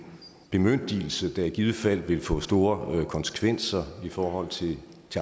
bemyndigelse der i givet fald vil få store konsekvenser i forhold til